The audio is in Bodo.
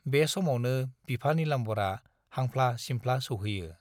बे समावनो बिफा नीलाम्बरा हांफ्ला-सिमफ्ला सौहैयो।